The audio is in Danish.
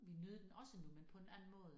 Vi nød den også nu men på en anden måde